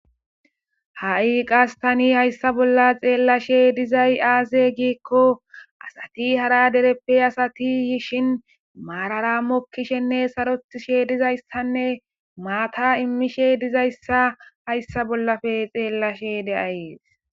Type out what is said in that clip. ha7i qas tani hayssa bolla xeellashe dizay aaze giikko asati hara dereppe asati yishin maararamo kishenne sarotishe dizayssanne maata immishe dizayssa hayssa bollafe xeellashe de7ayees